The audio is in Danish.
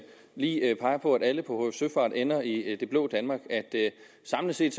lige peger på at alle på hf søfart ender i det blå danmark at samlet set